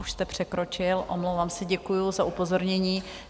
Už jste překročil, omlouvám se, děkuju za upozornění.